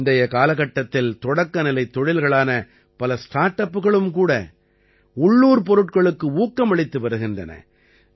இன்றைய காலகட்டத்தில் தொடக்கநிலைத் தொழில்களான பல ஸ்டார்ட் அப்புகளும் கூட உள்ளூர்ப் பொருட்களுக்கு ஊக்கமளித்து வருகின்றன